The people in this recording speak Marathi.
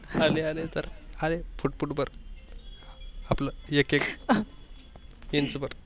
आले आले तर आले फुट फुट भर आपल एक एक इंच भर